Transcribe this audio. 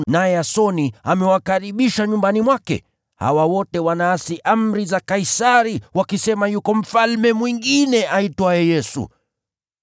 naye Yasoni amewakaribisha nyumbani mwake. Hawa wote wanaasi amri za Kaisari wakisema yuko mfalme mwingine aitwaye Yesu.”